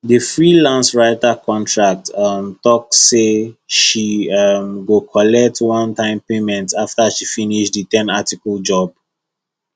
the freelance writer contract um talk say she um go collect onetime payment after she finish the ten article job